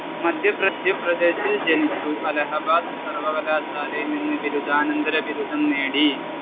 മധ്യപ്രദേശിൽ ജനിച്ചു. അലഹബാദ് സർവകലാശാലയിൽ നിന്ന് ബിരുദാനന്തര ബിരുദം നേടി.